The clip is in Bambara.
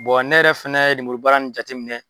ne yɛrɛ fɛnɛ ye lemurubaara in jateminɛ